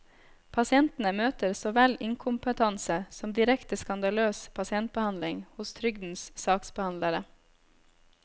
Pasientene møter så vel inkompetanse som direkte skandaløs pasientbehandling hos trygdens saksbehandlere.